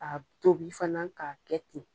a tobi fana k'a kɛ ten.